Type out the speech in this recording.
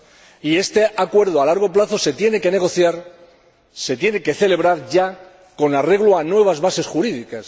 Y este acuerdo a largo plazo se tiene que negociar, se tiene que celebrar ya con arreglo a nuevas bases jurídicas.